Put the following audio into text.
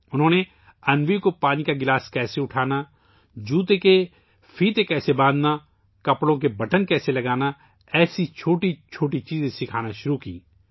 انہوں نے انوی کو پانی کا گلاس کیسے اٹھانا ہے، جوتوں کے فیتے کیسے باندھنے ہیں ، کپڑوں کے بٹن کیسے لگانے ہیں ، ایسی چھوٹی چھوٹی چیزیں سکھانا شروع کیں